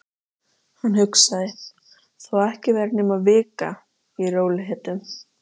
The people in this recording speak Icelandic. Hann hugsaði: Þó ekki væri nema vika. í rólegheitum.